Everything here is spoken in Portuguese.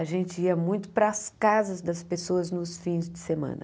A gente ia muito para as casas das pessoas nos fins de semana.